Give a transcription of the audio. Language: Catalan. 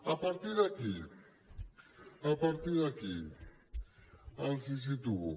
a partir d’aquí a partir d’aquí els situo